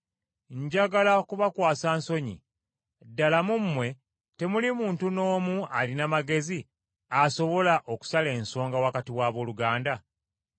Njagala kubakwasa nsonyi; ddala mu mmwe temuli muntu n’omu alina magezi asobola okusala ensonga wakati w’abooluganda?